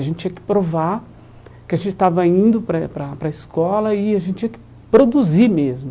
A gente tinha que provar que a gente estava indo para para para a escola e a gente tinha que produzir mesmo.